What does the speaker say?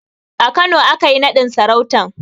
A Kano aka yi naɗin sarautan